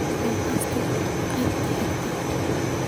podcast qaybta xigta